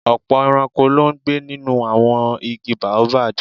Ọ̀pọ̀ ẹranko ló ń gbé nínú àwọn igi Baobab